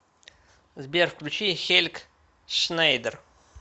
сбер включи хельг шнейдер